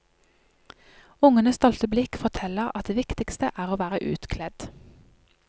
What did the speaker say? Ungenes stolte blikk forteller at det viktigste er å være utkledd.